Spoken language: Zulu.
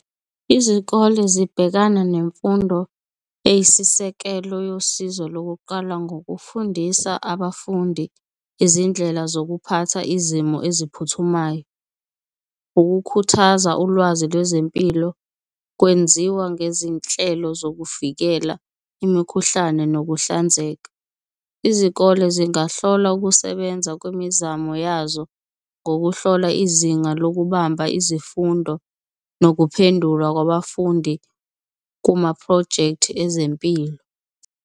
Izikole zibhekana nemfundo eyisisekelo yosizo lokuqala ngokufundisa abafundi izindlela zokuphatha izimo eziphuthumayo. Ukukhuthaza ulwazi lwezempilo kwenziwa ngezinhlelo zokuvikela imikhuhlane nokuhlanzeka, izikole zingahlola ukusebenza kwemizamo yazo ngokuhlola izinga lokubamba izifundo nokuphendula kwabafundi kumaphrojekthi ezempilo.